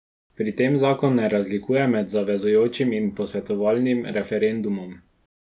Pri tem zakon ne razlikuje med zavezujočim in posvetovalnim referendumom.